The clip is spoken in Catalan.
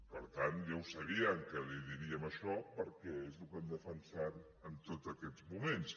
per tant ja ho sabien que els diríem això perquè és el que hem defensat en tots aquests moments